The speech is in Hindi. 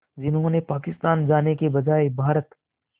जिन्होंने पाकिस्तान जाने के बजाय भारत